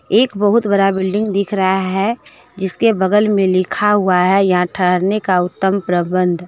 एक बहुत बड़ा बिल्डिंग दिख रहा है। जिसके बगल में लिखा हुआ है यहां ठहरने का उत्तम प्रबंध --